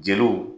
Jeliw